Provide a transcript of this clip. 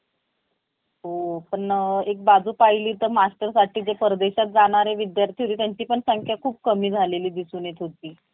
मार्ग वाहतुकीबद्दल किमान एक दिवस आधी माहिती मिळवा. आपली कागद पत्रे तयार ठेवा. आत्मविश्वासाने मुलाखत द्या आणि आपली निवड होईल याची खात्री बाळगा निवड केल्यानतर कागदपत्रे शोधण्यात कोणतीही अडचण नाही